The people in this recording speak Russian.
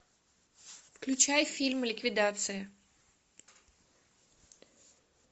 включай фильм ликвидация